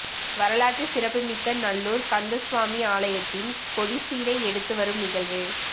வரலாற்று சிறப்புமிக்க நல்லூர் கந்தசுவாமி ஆலயத்தின் கொடிச்சீலை எடுத்து வரும் நிகழ்வு